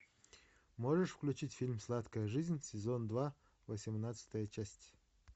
можешь включить фильм сладкая жизнь сезон два восемнадцатая часть